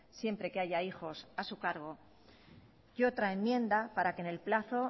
siempre que haya hijos a su cargo y otra enmienda para que en el plazo